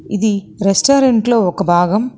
ఇది రెస్టారెంట్ లో ఒక భాగం.